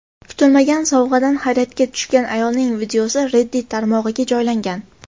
Kutilmagan sovg‘adan hayratga tushgan ayolning videosi Reddit tarmog‘iga joylangan .